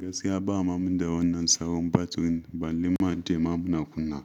Gaskiya ba ma mu da wannan sabon battery, balle ma ce ma muna kunna